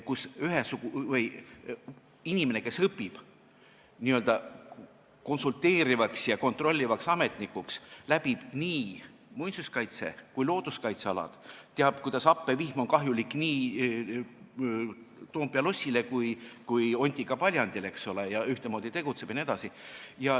See tähendab, et inimene, kes õpib n-ö konsulteerivaks ja kontrollivaks ametnikuks, tunneb nii muinsuskaitse- kui ka looduskaitsealasid, teab, et happevihm on kahjulik nii Toompea lossile kui ka Ontika paljandile, tegutseb ühtemoodi jne.